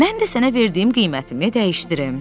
Mən də sənə verdiyim qiymətimi dəyişdirim.